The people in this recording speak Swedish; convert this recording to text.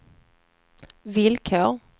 villkor